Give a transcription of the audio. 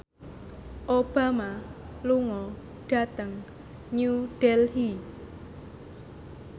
Obama lunga dhateng New Delhi